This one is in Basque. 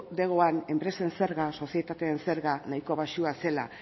erkidegoan enpresen zerga sozietateen zerga nahikoa baxua zela